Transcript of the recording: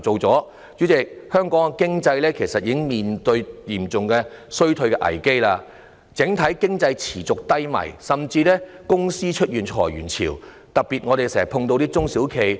主席，香港的經濟正面對嚴重的衰退危機，整體經濟持續低迷，甚至有公司已出現裁員潮，特別是我們經常見到的中小企。